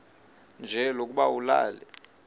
nje lokuba ulale